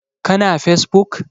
Ka na fesbuk?